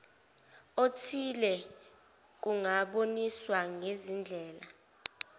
othile kungaboniswa ngezindlela